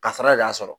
Kasara de y'a sɔrɔ